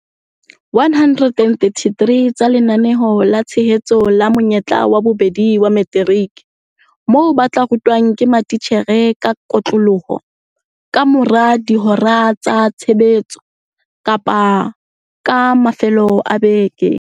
133 tsa Lenaneo la Tshehetso la Monyetla wa Bobedi wa Materiki moo ba tla rutwang ke matitjhere ka kotloloho ka mora dihora tsa tshebetso kapa ka mafelo a beke.